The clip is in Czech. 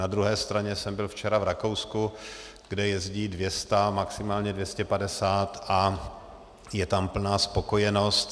Na druhé straně jsem byl včera v Rakousku, kde jezdí 200, maximálně 250, a je tam plná spokojenost.